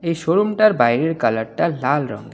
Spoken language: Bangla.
এই শোরুমটার বাইরের কালারটা লাল রঙের.